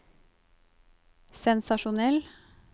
sensasjonell